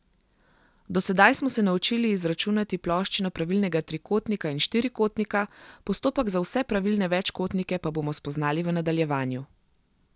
Do sedaj smo se naučili izračunati ploščino pravilnega trikotnika in štirikotnika, postopek za vse pravilne večkotnike pa bomo spoznali v nadaljevanju.